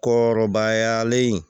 Kɔrɔbayalen